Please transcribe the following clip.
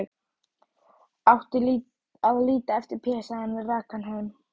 Átti að líta eftir Pésa, en rak hann heim.